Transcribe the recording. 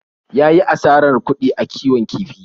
Ya yi asarar kuɗi a kiwon kifi.